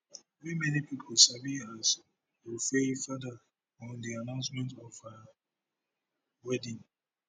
wey many pipo sabi as wofaifada on di announcement of her wedding